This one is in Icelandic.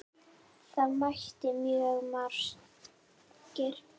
Það mættu mjög margir.